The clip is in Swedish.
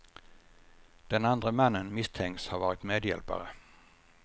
Den andre mannen misstänks ha varit medhjälpare.